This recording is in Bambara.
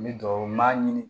N bɛ dugawu n'a ye